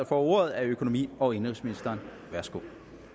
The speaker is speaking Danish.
får ordet er økonomi og indenrigsministeren værsgo